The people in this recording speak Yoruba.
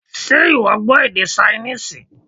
Ṣé ìwọ gbọ́ èdè Ṣainíìsì?